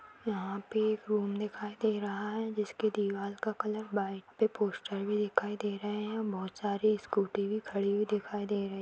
यहाँ पे एक रूम दिखाई दे रहा है जिसकी दिवाल का कलर वाइट पे पोस्टर भी दिखाई दे रहे हैं बहोत सारी स्कूटी भी खड़ी हुई दिखाई दे रही हैं।